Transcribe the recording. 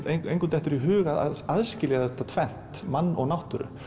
engum dettur í hug að aðskilja þetta tvennt mann og náttúru